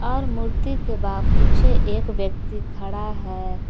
और मूर्ति के बा पीछे एक व्यक्ति खड़ा है।